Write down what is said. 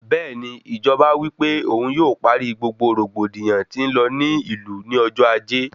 Bẹẹni, Ìjọba wípé òun yóò parí gbogbo rògbòdìyàn tí n lọ ní ìlú ní ọjọ ajé